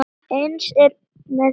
Eins er með túlkun.